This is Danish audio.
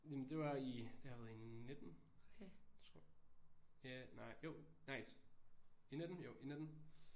Jamen det var i det har været i 19 tror ja nej jo nej i 19 jo i 19